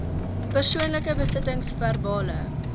persoonlike besittings verbale